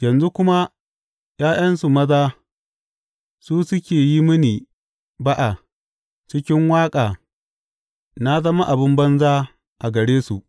Yanzu kuma ’ya’yansu maza su suke yi mini ba’a cikin waƙa na zama abin banza a gare su.